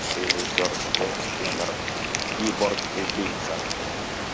режиссёр джеймс кэмерон киборг убийца